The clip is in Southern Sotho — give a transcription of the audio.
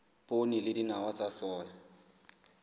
poone le dinawa tsa soya